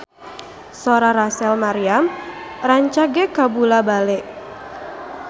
Sora Rachel Maryam rancage kabula-bale